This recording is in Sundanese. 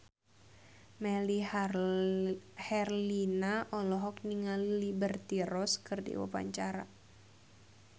Melly Herlina olohok ningali Liberty Ross keur diwawancara